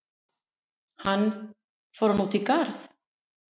Hann: Fór hann út í garð?